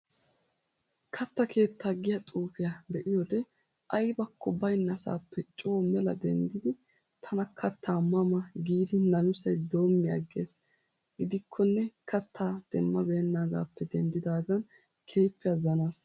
Kaatta keettaa giyaa xuufiyaa be'iyoode aybakko baynnasaappe coo mela denddidi tana kattaa ma ma giidi namisay doomi aggiis. Gidikkonne kattaa demma beennaagaappe denddidaagan keehiippe azanaas.